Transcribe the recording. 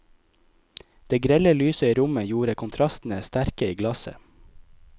Det grelle lyset i rommet gjorde kontrastene sterke i glasset.